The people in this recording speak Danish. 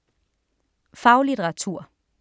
Faglitteratur